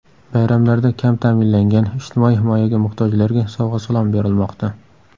Bayramlarda kam ta’minlangan, ijtimoiy himoyaga muhtojlarga sovg‘a-salom berilmoqda.